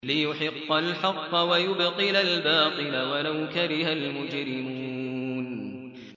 لِيُحِقَّ الْحَقَّ وَيُبْطِلَ الْبَاطِلَ وَلَوْ كَرِهَ الْمُجْرِمُونَ